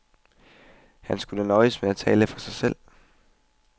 Han skulle nøjes med at tale for sig selv.